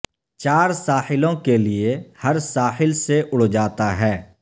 چار ساحلوں کے لئے ہر ساحل سے اڑ جاتا ہے